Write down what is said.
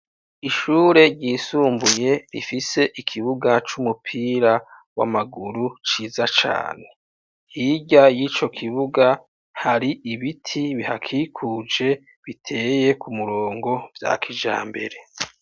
Ishure ryisumbuye, rifise ikibuga c'umupira w'amaguru, ciza cane; hirya y'ico kibuga, hari ibiti bihakikuje, biteye ku murongo vya kijambere.